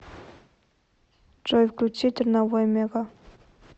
джой включи терновой мега